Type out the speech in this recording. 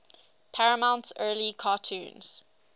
paramount's early cartoons